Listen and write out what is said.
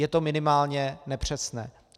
Je to minimálně nepřesné.